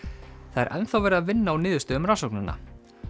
það er enn þá verið að vinna úr niðurstöðum rannsóknanna